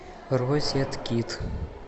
розеткид